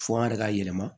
Fɔ an yɛrɛ ka yɛlɛma